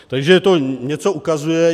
Takže to něco ukazuje.